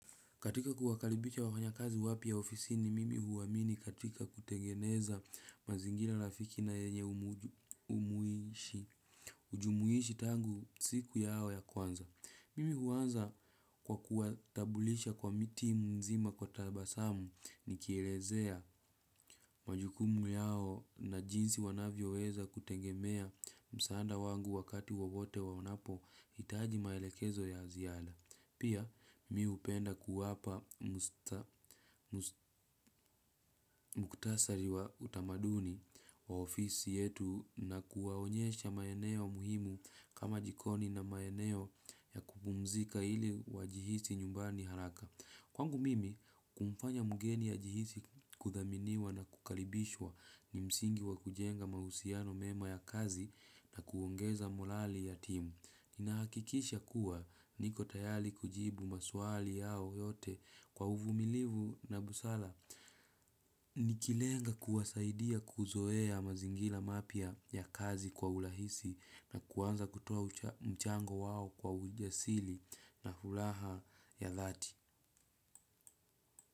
Katika kuwakalibisha wakanya kazi wapya ofisini mimi huwamini katika kutengeneza mazingila rafiki na yenye jumuishi tangu siku yao ya kwanza. Mimi huwanza kwa kuwatabulisha kwa mtimu zima kwa tabasamu ni kielezea majukumu yao na jinsi wanavyo weza kutengemea msaada wangu wakati wawote wanapo hitaji maelekezo ya ziada. Pia, mimi upenda kuwapa mkutasari wa utamaduni wa ofisi yetu na kuwaonyesha maeneo muhimu kama jikoni na maeneo ya kupumzika ili wajihisi nyumbani haraka. Kwangu mimi, kumfanya mgeni ajihisi kuthaminiwa na kukalibishwa ni msingi wa kujenga mahusiano mema ya kazi na kuongeza morali ya timu. Ninahakikisha kuwa niko tayali kujibu maswali yao yote kwa uvumilivu na busara. Nikilenga kuwasaidia kuzoea mazingira mapya ya kazi kwa ulahisi na kuanza kutoa mchango wao kwa ujasili na fulaha ya dhati.